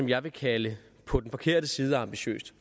jeg vil kalde på den forkerte side af ambitiøst